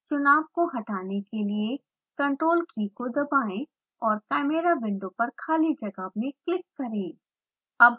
चुनाव को हटाने के लिए ctrl की को दबाएँ और chimera विंडो पर खाली जगह में क्लिक करें